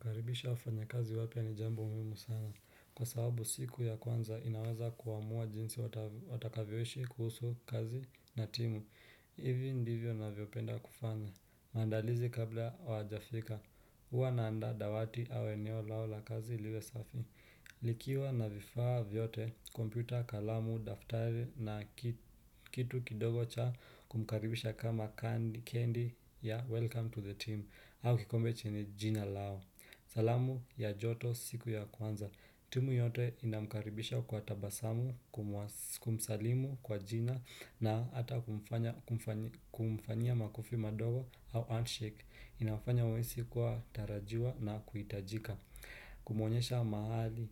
Kukaribisha wafanyakazi wapya ni jambo muhimu sana. Kwa sababu siku ya kwanza inaweza kuamua jinsi watakavyoishi kuhusu kazi na timu. Hivi ndivyo navyopenda kufanya. Maandalizi kabla hawajafika. Huwa naandaa dawati au eneo lao la kazi liwe safi. Likiwa na vifaa vyote, kompyuta, kalamu, daftari na kitu kidogo cha kumkaribisha kama candy ya welcome to the team. Au kikombe chenye jina lao. Salamu ya joto siku ya kwanza. Timu yote inamkaribisha kwa tabasamu, kumsalimu kwa jina na hata kumfanyia makofi madogo au handshake. Inamfanya wahisi kuwa tarajiwa na kuhitajika. Kumuonyesha mahali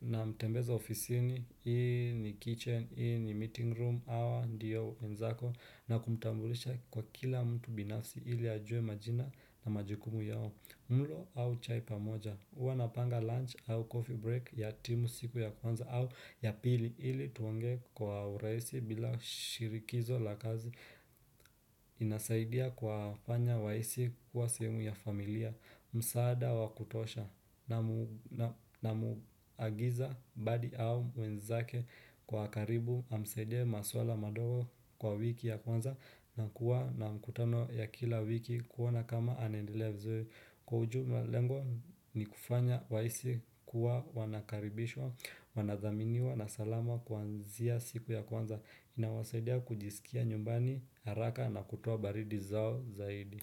namtembeza ofisini, hii ni kitchen, hii ni meeting room, hawa, ndiyo wenzako. Nakumtambulisha kwa kila mtu binafsi ili ajue majina na majukumu yao. Mlo au chai pamoja, huwa napanga lunch au coffee break ya timu siku ya kwanza au ya pili ili tuongee kwa urahisi bila shirikizo la kazi inasaidia kuwafanya wahisi kuwa sehemu ya familia, msaada wakutosha namuagiza badi au mwenzake kwa karibu amsaidie maswala madogo kwa wiki ya kwanza na kuwa na mkutano ya kila wiki kuona kama anaendelea vizuri Kwa ujumla lengo ni kufanya wahisi kuwa wanakaribishwa, wanadhaminiwa na salama kuanzia siku ya kwanza inawasaidia kujisikia nyumbani haraka na kutoa baridi zao zaidi.